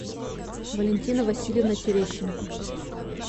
валентина васильевна терещенко